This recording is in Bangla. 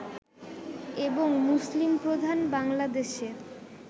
এবং মুসলিম প্রধান বাংলাদেশে